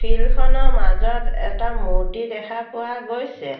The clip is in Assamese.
ফিল্ড খনৰ মাজত এটা মূৰ্ত্তি দেখা পোৱা গৈছে।